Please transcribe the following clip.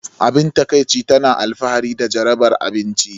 Abin takaici, tana alfahari da jarabar abinci.